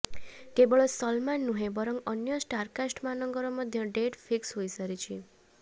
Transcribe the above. କେବଳ ସଲମାନ ନୁହେଁ ବରଂ ଅନ୍ୟ ଷ୍ଟାରକାଷ୍ଟ ମାନଙ୍କର ମଧ୍ୟ ଡେଟ ଫିକ୍ସ ହୋଇସାରିଛି